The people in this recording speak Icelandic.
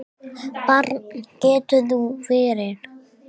Barn geturðu verið!